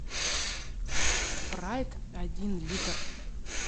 спрайт один литр